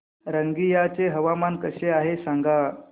रंगिया चे हवामान कसे आहे सांगा